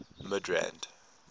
midrand